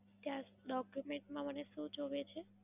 ત્યાં document માં મને શું જોવે છે?